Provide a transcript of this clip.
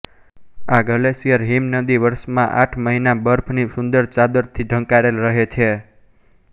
આ ગ્લેશિયરહીમનદી વર્ષમાં આઠ મહીના બર્ફ ની સુંદર ચાદરથી ઢંકાયેલ રહે છે